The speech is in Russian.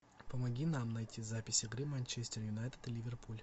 помоги нам найти запись игры манчестер юнайтед ливерпуль